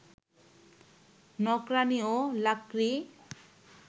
নকরানি ও লাকড়ি